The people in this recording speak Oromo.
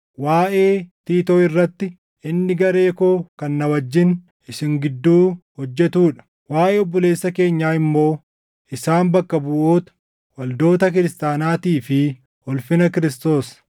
Waaʼee Tiitoo irratti, inni garee koo kan na wajjin isin gidduu hojjetuu dha; waaʼee obboloota keenyaa immoo isaan bakka buʼoota waldoota kiristaanaatii fi ulfina Kiristoos.